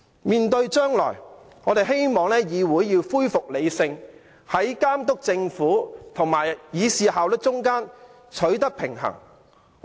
面對將來，我們希望議會能夠恢復理性，在監督政府和議事效率之間取得平衡。